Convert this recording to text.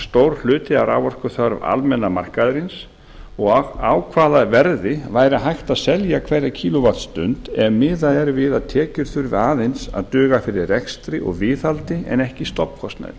stór hluti af raforkuþörf almenna markaðarins og á hvaða verði væri hægt að selja hverja kíló vattstundir ef miðað er við að tekjur þurfi aðeins að duga fyrir rekstri og viðhaldi en ekki stofnkostnaði